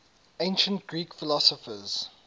ancient greek philosophers